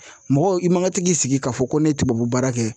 Mɔgɔ i ma ka tɛ k'i sigi k'a fɔ ko ne ye tubabu baara kɛ